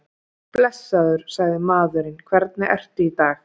Blessaður, sagði maðurinn, hvernig ertu í dag?